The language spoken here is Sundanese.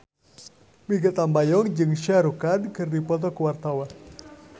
Mikha Tambayong jeung Shah Rukh Khan keur dipoto ku wartawan